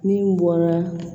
Min bɔra